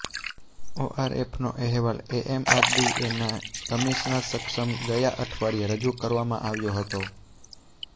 ઓઆરએફનો અહેવાલ એમએમઆરડીએના કમિશનર સમક્ષ ગયા અઠવાડિયે રજૂ કરવામાં આવ્યો હતો